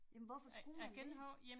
Jamen hvorfor skulle man det?